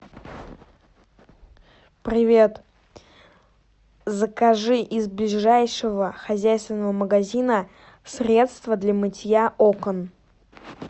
привет закажи из ближайшего хозяйственного магазина средство для мытья окон